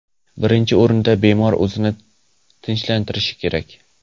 Birinchi o‘rinda bemor o‘zini tinchlantirishi kerak.